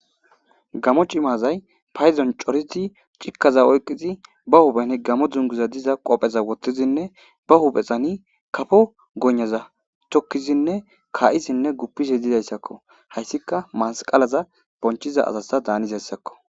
gamo cimazay payzon coriti cikkaza oyqqizi ba huphen gamo dzunguza diza qopheza wottizinne ba huphexani kafo gonnaza tokkizinne kaa7izinne guppisi didayssakko hayssika masqalaza bonchiza asasta daanis hessakko